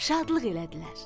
Şadlıq elədilər.